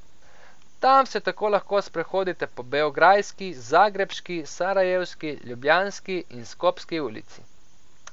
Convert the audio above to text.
Tam se tako lahko sprehodite po Beograjski, Zagrebški, Sarajevski, Ljubljanski in Skopski ulici.